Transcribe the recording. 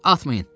Atmayın.